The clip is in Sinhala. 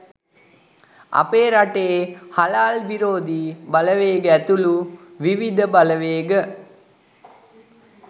අපේ රටේ හලාල් විරෝධී බලවේග ඇතුළු විවිධ බලවේග